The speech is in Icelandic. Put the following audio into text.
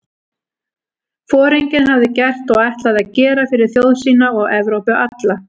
Foringinn hafði gert og ætlaði að gera fyrir þjóð sína og Evrópu alla?